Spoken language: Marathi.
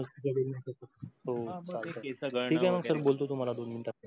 हो ठीक आहे सर मग बोलता तुम्हाला दोन minute त